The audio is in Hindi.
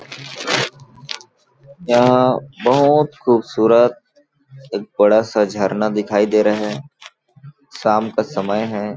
यहाँ बहुत खूबसूरत एक बड़ा-सा झरना दिखाई दे रहा है शाम का समय है।